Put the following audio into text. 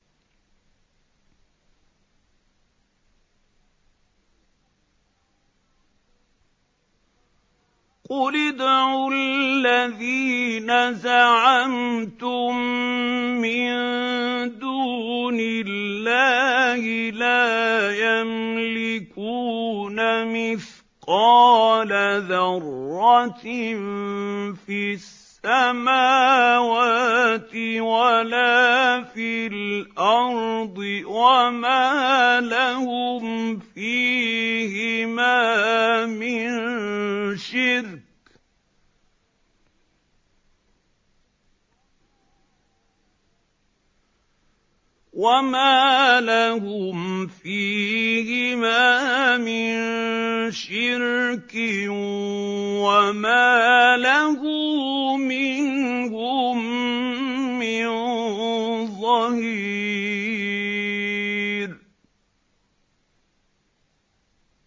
قُلِ ادْعُوا الَّذِينَ زَعَمْتُم مِّن دُونِ اللَّهِ ۖ لَا يَمْلِكُونَ مِثْقَالَ ذَرَّةٍ فِي السَّمَاوَاتِ وَلَا فِي الْأَرْضِ وَمَا لَهُمْ فِيهِمَا مِن شِرْكٍ وَمَا لَهُ مِنْهُم مِّن ظَهِيرٍ